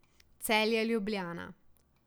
Celje, Ljubljana.